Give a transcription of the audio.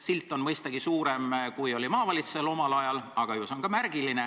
Silt on mõistagi suurem, kui oli maavalitsusel omal ajal, aga ju see on ka märgiline.